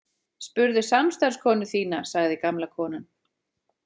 Spurðu samstarfskonu þína, sagði gamla konan.